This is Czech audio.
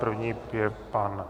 První je pan...